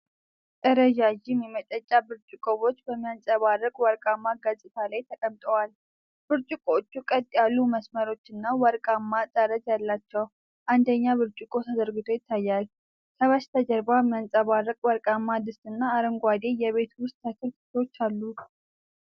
ረዣዥም የመጠጫ ብርጭቆዎች በሚያንጸባርቅ ወርቃማ ገጽታ ላይ ተቀምጠዋል። ብርጭቆዎቹ ቀጥ ያሉ መስመሮችና ወርቃማ ጠርዝ አላቸው፤ አንደኛው ብርጭቆ ተዘርግቶ ይታያል። ከበስተጀርባ የሚያብረቀርቅ ወርቃማ ድስትና አረንጓዴ የቤት ውስጥ ተክል ክፍሎች አሉ።